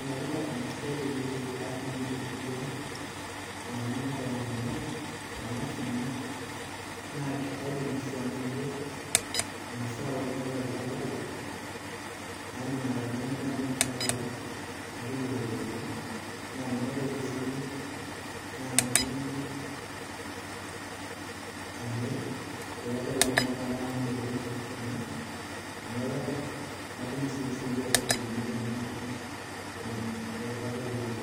Enetipat enasiai peeyie aas naai temurua kewon amu tanas ena naa kaidimi sii ainoto masaa kumok tolchamba lai anaa tanamir kuna tare naa tanaitoki sii naaji amir irpapit lekunatare amu merino kuna kuna tare natum esiana ooropiyani tanamir irpapit lenye